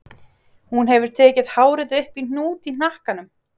Hún hefur tekið hárið upp í hnút í hnakkanum.